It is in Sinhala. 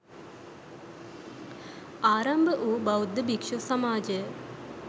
ආරම්භවූ බෞද්ධ භික්‍ෂු සමාජය